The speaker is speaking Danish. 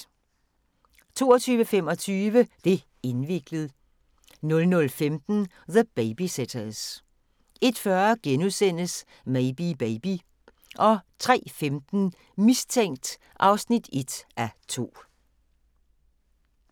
22:25: Det' indviklet 00:15: The Babysitters 01:40: Maybe Baby * 03:15: Mistænkt (1:2)